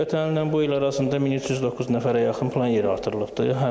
Ötən ilnən bu il arasında 1309 nəfərə yaxın plan yeri artırılıbdır.